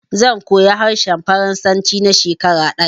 Zan koyi harshen faransanci na shekara ɗaya